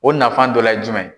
O nafan dɔla ye jumɛn ye?